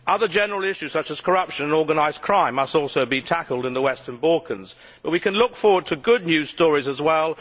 Other general issues such as corruption and organised crime must also be tackled in the Western Balkans, but we can look forward to good news stories as well.